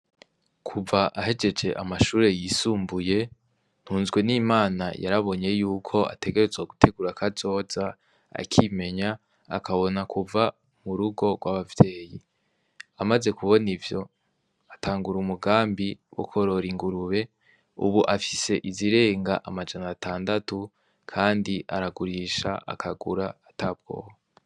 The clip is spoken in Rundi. Kuva ahejeje amashure yisumbuye Ntunzwenimana yarabonye yuko ategerezwa gutegura kazoza akimenya akabona kuva mu rugo rw'abavyeyi, amaze kubona ivyo atangura umugambi wo korora ingurube, ubu afise izirenga amajana atandatu kandi aragurisha akagura ata bwoba.